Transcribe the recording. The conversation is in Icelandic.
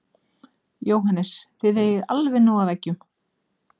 Jóhannes: Þið eigið alveg nóg af eggjum?